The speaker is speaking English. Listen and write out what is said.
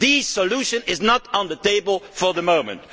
The solution is not on the table for the moment.